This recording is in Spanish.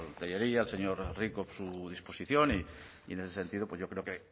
tellería y al señor rico su disposición y en ese sentido pues yo creo que